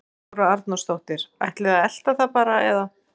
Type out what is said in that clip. Þóra Arnórsdóttir: Ætlið þið að elta það bara eða?